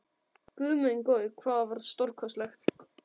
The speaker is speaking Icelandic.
Guð minn góður, hvað það var stórkostlegt!